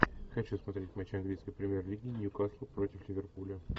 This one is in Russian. хочу смотреть матч английской премьер лиги ньюкасл против ливерпуля